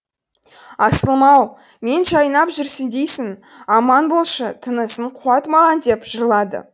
асылым ау мен жайнап жүрсін дейсің аман болшы тынысың қуат маған деп жырлады